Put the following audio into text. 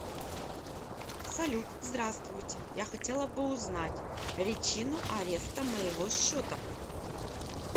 салют здравстуйте я хотела бы узнать ричину ареста моего счета